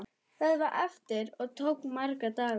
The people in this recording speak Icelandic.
Það var erfitt og tók marga daga.